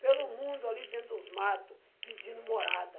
pelo mundo, ali dentro dos matos, pedindo morada.